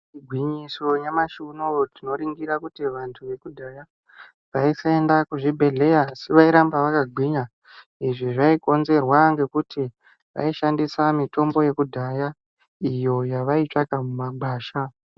Igwinyiso nyamashi unowu tinoringira kuti vantu vekudhaya avasaienda kuzvibhedhleya asi vairamba vakagwinya izvi zvaikonzerwa ngekuti vaishandisa mitombo yekudhaya iyo yavaitsvaka mumagwasha.